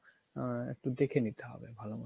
আ~ একটু দেখে নিতে হবে ভালো মতো